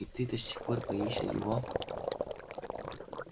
и ты до сих пор боишься его